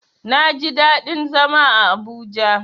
Naji daɗin zama a Abuja.